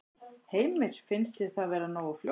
Heimir: Finnst þér það vera nógu fljótt?